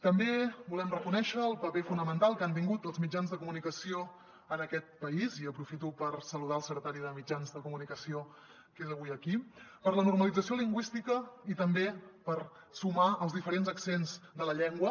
també volem reconèixer el paper fonamental que han tingut els mitjans de comunicació en aquest país i aprofito per saludar el secretari de mitjans de comunicació que és avui aquí per la normalització lingüística i també per sumar els diferents accents de la llengua